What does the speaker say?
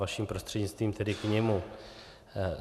Vaším prostřednictvím tedy k němu.